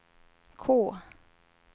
K